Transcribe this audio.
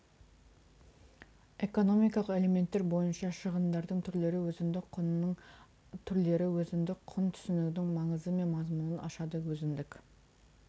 экономикалық элементтер бойынша шығындардың түрлері өзіндік құнның түрлері өзіндік құн түсінігінің маңызы мен мазмұнын ашады өзіндік